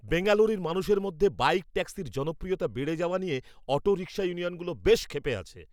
বেঙ্গালুরুর মানুষের মধ্যে বাইক ট্যাক্সির জনপ্রিয়তা বেড়ে যাওয়া নিয়ে অটো রিকশা ইউনিয়নগুলো বেশ ক্ষেপে আছে।